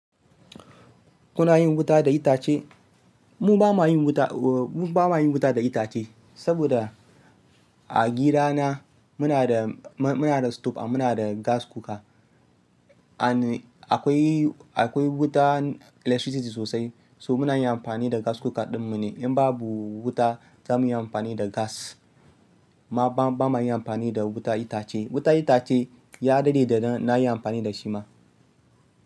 Kuna yin wuta da itace? Mu ba ma yin wuta, mu ba ma yin wuta da itace, saboda a gidana muna da, muna da stove muna da gas cooker. And akwai, akwai wutan electricity sosai, so muna yin amfani da gas cooker ɗinmu ne. In babu wuta za mu yi amfani da gas. Amma ba ma yin amfani da wutan itace. Wutan itace ya daɗe da na yi amfani da shi ma.